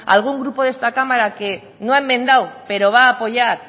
algún grupo de esta cámara que no ha enmendado pero va apoyar